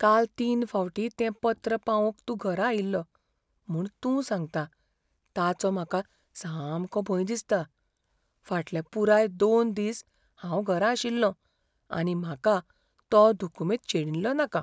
काल तीन फावटीं तें पत्र पावोवंक तूं घरा आयिल्लो म्हूण तूं सांगता ताचो म्हाका सामको भंय दिसता. फाटले पुराय दोन दिस हांव घरा आशिल्लों आनी म्हाका तो दुकुमेंत शेणिल्लो नाका.